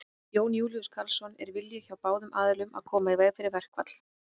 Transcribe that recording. Jón Júlíus Karlsson: Er vilji hjá báðum aðilum að koma í veg fyrir verkfall?